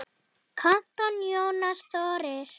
Kantor Jónas Þórir.